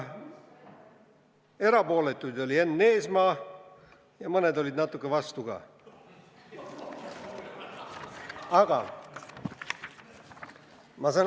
Erapooletu oli Enn Eesmaa ja mõned olid natuke vastu ka.